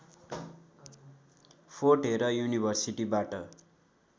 fort Hare युनिभर्सिटीबाट